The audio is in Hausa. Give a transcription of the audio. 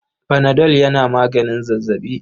Panadol yana maganin zazzaɓi.